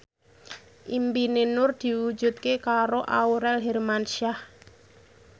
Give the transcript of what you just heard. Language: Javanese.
impine Nur diwujudke karo Aurel Hermansyah